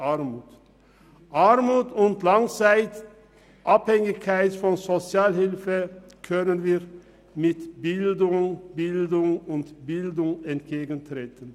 Der Armut und der Langzeitabhängigkeit von der Sozialhilfe können wir mit Bildung, Bildung und Bildung entgegentreten.